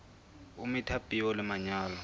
o metha peo le manyolo